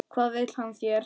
Hvað vill hann þér?